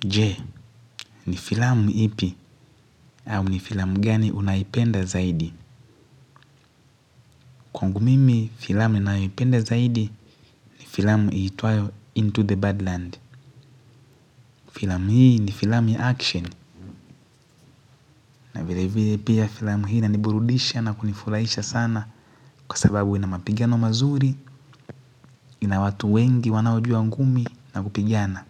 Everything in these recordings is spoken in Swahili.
Je ni filamu ipi au ni filamu gani unaipenda zaidi kwangu mimi filamu ninayoipenda zaidi ni filamu iitwayo into the bad land filamu hii ni filamu ya action. Na vilevile pia filamu hii inaniburudisha na kunifulaisha sana. Kwa sababu ina mapigiano mazuri ina watu wengi wanaojua ngumi na kupigiana.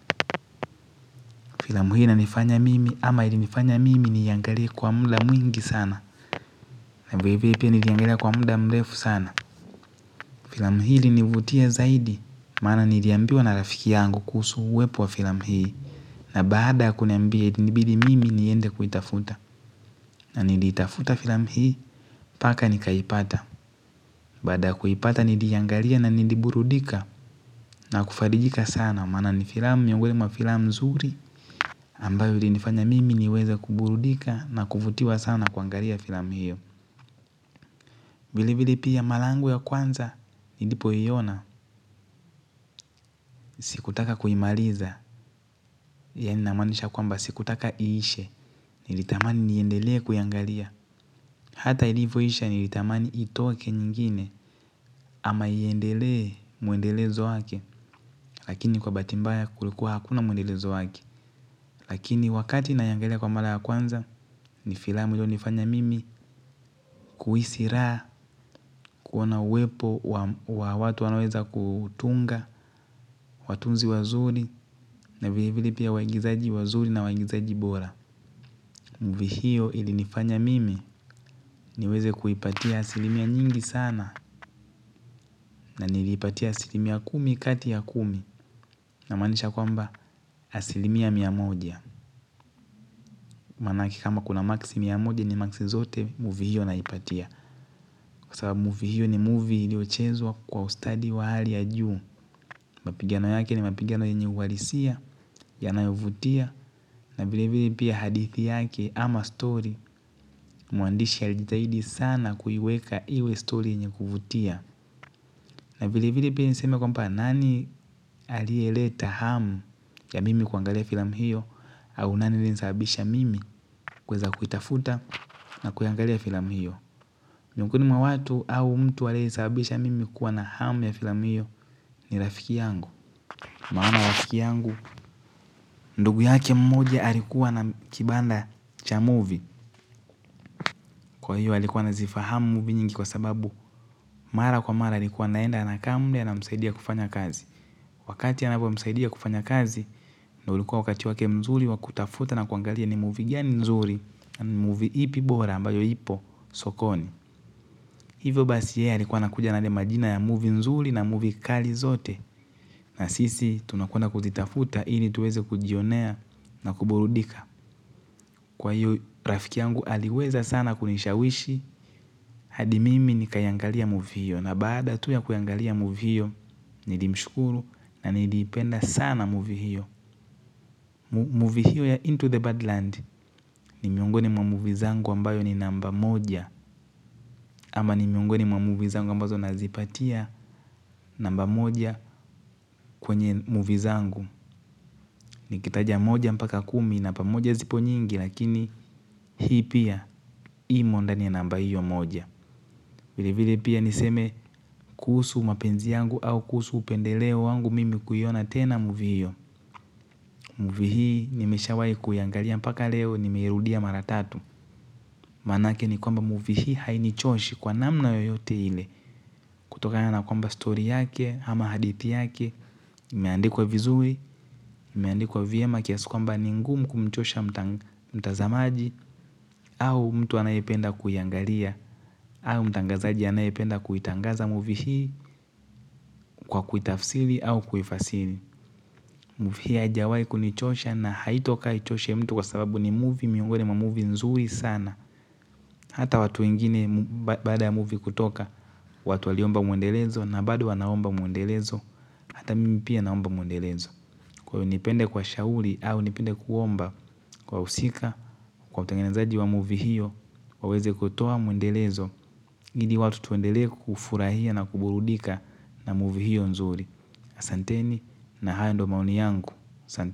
Filamu hii inanifanya mimi ama ilinifanya mimi niiangalie kwa mda mwingi sana. Na vilevile pia niliangalia kwa mda mlefu sana. Filamu hii ilinivutia zaidi maana niliambiwa na rafiki yangu kuhusu uwepo wa filamu hii na baada ya kuniambia ilinibidi mimi niende kuitafuta na niliitafuta filamu hii mpaka nikaipata. Baada ya kuipata niliiangalia na niliburudika na kufarijika sana maana ni filamu miongoni mwa filamu mzuri ambayo ilinifanya mimi niweze kuburudika na kuvutiwa sana kuangalia filam hiyo. Vile vile pia mala yangu ya kwanza, nilipoiona, sikutaka kuimaliza, yaani namaanisha kwamba sikutaka iishe, nilitamani niendelee kuiangalia. Hata ilivoisha nilitamani itoke nyingine, ama iendelee mwendelezo wake, lakini kwa bahati mbaya kulikuwa hakuna mwendelezo wake. Lakini wakati naiangalia kwa mala ya kwanza ni filamu iliyonifanya mimi kuhisi raha, kuona uwepo wa watu wanaoweza kutunga, watunzi wazuri na vile vile pia waigizaji wazuri na waigizaji bora. Movie hiyo ilinifanya mimi niweze kuipatia asilimia nyingi sana na niliipatia asilimia kumi kati ya kumi namaanisha kwamba asilimia mia moja. Manake kama kuna maksi mia moja ni maksi zote movie hiyo naipatia. Kwa sababu movie hiyo ni movie iliyochezwa kwa ustadi wa hali ya juu. Mapigano yake ni mapigano yenye uharisia. Yanayovutia. Na vile vile pia hadithi yake ama story mwandishi alijitahidi sana kuiweka iwe story yenye kuvutia na vile vile niseme kuwa nani aliyeleta hamu ya mimi kuiangalia filamu hiyo au nani alinisababisha mimi kuweza kuitafuta na kuiangalia filamu hiyo miongoni mwa watu au mtu aliyenisabisha mimi kuwa na hamu ya filamu hiyo ni rafiki yangu. Maana rafiki yangu, ndugu yake mmoja alikuwa na kibanda cha movie. Kwa hiyo alikuwa anazifahamu movie nyingi kwa sababu mara kwa mara alikuwa naenda anakaa mle anamsaidia kufanya kazi. Wakati anavomsaidia kufanya kazi, ndo ulikuwa wakati wake mzuri wa kutafuta na kuangalia ni movie gani nzuri. Na ni movie ipi bora ambayo ipo sokoni. Hivyo basi yeye alikuwa anakuja na yale majina ya movie nzuli na movie kali zote. Na sisi tunakwenda kuzitafuta ili tuweze kujionea na kuburudika. Kwa hiyo rafiki yangu aliweza sana kunishawishi. Hadi mimi nikaiangalia movie hiyo. Na baada tu ya kuiangalia movie hiyo nilimshukuru na niliipenda sana movie hiyo. Movie hiyo ya Into the Bad land. Ni miongoni mwa movie zangu ambayo ni namba moja. Ama ni miongoni mwa movie zangu ambazo nazipatia namba moja kwenye movie zangu. Nikitaja moja mpaka kumi na pamoja zipo nyingi lakini hii pia hii imo ndani ya namba hiyo moja. Vile vile pia niseme kuhusu mapenzi yangu au kuhusu upendeleo wangu mimi kuiona tena movie hiyo. Movie hii nimshawai kuiangalia mpaka leo nimeirudia mara tatu. Manake ni kwamba movie hii hainichoshi kwa namna yoyote ile. Kutokana na kwamba stori yake ama hadithi yake imeandikwa vizuri imeandikwa vyema kiasi kwamba ni ngumu kumchosha mtazamaji. Au mtu anayependa kuiangalia, au mtangazaji anayependa kuitangaza movie hii kwa kuitafsili au kufasili. Movie hii hajawai kunichosha na haitoka ichoshe mtu kwa sababu ni movie miongoni mwa movie nzuri sana. Hata watu wengine baada ya movie kutoka, watu waliomba mwendelezo na bado wanaomba mwendelezo. Hata mimi pia naomba mwendelezo. Kwaio nipende kuwashauli au nipende kuomba. Kwa wahusika, watengenezaji wa movie hiyo waweze kutoa mwendelezo ili watu tuendelee kufurahia na kuburudika na movie hiyo nzuri. Asanteni na haya ndo maoni yangu. Asanteni.